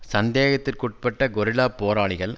சந்தேகத்திற்குட்பட்ட கொரில்லாப் போராளிகள்